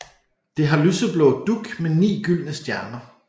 Det har lyseblå dug med ni gyldne stjerner